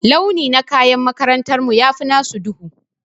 Launi na kayan makarantar mu ya fi nasu duhu.